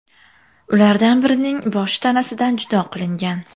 Ulardan birining boshi tanasidan judo qilingan.